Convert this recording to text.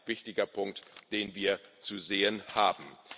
wichtige Punkte, die wir zu sehen haben.